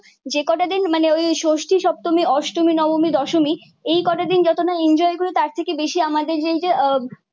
যে কটা দিন মানে ওই ষষ্ঠী, সপ্তমী, অষ্টমী, নবমী, দশমী এই কটা দিন যত না এনজয় করি তার থেকে বেশি আমাদের যে এই যে